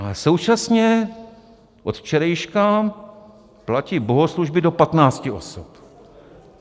A současně od včerejška platí bohoslužby do patnácti osob.